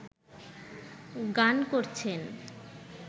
গান করছেন